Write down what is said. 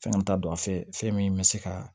Fɛn t'a don a fɛ fɛn min bɛ se ka